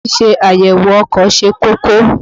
Ṣíṣe àyèwò ọkọ̀ ṣe kókó.